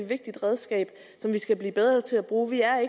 vigtigt redskab som vi skal blive bedre til at bruge vi er